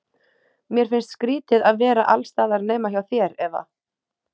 Mér finnst skrýtið að vera alls staðar nema hjá þér, Eva.